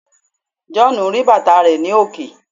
John ri bàtà rẹ ni òkè